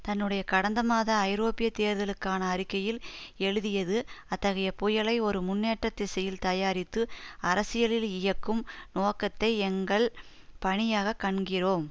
தன்னுடைய கடந்த மாத ஐரோப்பிய தேர்தலுக்கான அறிக்கையில் எழுதியது அத்தகைய புயலை ஒரு முன்னேற்ற திசையில் தயாரித்து அரசியலில் இயக்கும் நோக்கத்தை எங்கள் பணியாக கண்கிறோம்